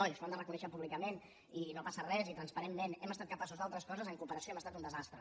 i això ho han de reconèixer públicament i no passa res i transparentment hem estat capaços d’altres coses en cooperació hem estat un desastre